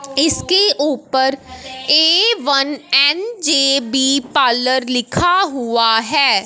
इसके ऊपर A one N J B parlour लिखा हुआ है।